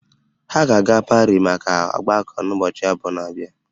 Ha ga-aga Parii maka ọgbako n'ụbọchị abụọ na-abịa